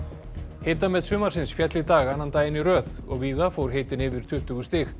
hitamet sumarsins féll í dag annan daginn í röð og víða fór hitinn yfir tuttugu stig